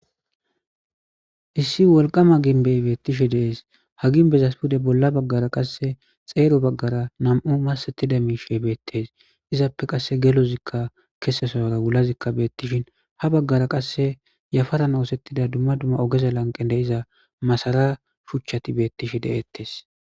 issi wolqama ginbey beettishi dees ha ginbeza pude bolla baggara qasse xeero baggara nam7u masettida miishey beettes izappe qasse gelozikka kesesoora wulazikka beettishin ha baggara qasse yafaran oosettida dumma dumma ogeza lanqen de iza masara shuchchati beettishi deettes